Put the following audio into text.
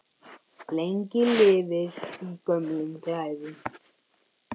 Lengi lifir í gömlum glæðum!